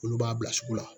Olu b'a bila sugu la